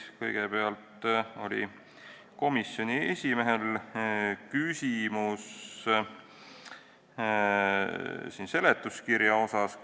Kõigepealt oli komisjoni esimehel küsimus seletuskirja kohta.